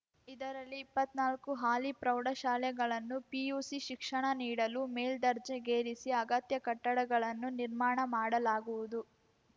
ಇದರಲ್ಲಿ ಇಪ್ಪತ್ನಾಲ್ಕು ಹಾಲಿ ಪ್ರೌಢ ಶಾಲೆಗಳನ್ನು ಪಿಯುಸಿ ಶಿಕ್ಷಣ ನೀಡಲು ಮೇಲ್ದರ್ಜೆಗೇರಿಸಿ ಅಗತ್ಯ ಕಟ್ಟಡಗಳನ್ನು ನಿರ್ಮಾಣ ಮಾಡಲಾಗುವುದು